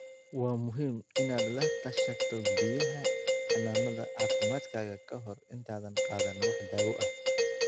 Waa muhiim inaad la tashato bixiyaha xanaanada caafimaadkaaga kahor intaadan qaadan wax daawo ah.